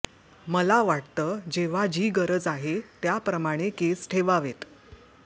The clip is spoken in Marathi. मला वाटतं जेव्हा जी गरज आहे त्याप्रमाणे केस ठेवावेत